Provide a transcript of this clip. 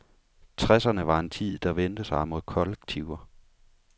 Tresserne var en tid, der vendte sig mod kollektiver.